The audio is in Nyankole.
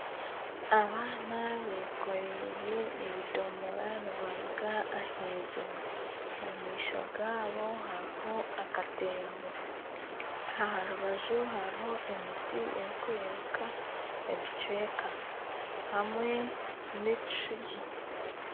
Abaana bekoreire ebidomora nibaruga ah'iziba. Omu maisho gaabo hariho akatembo. Aha rubaju hariho emiti erikurebeka ebicweka hamwe n'ekishugi.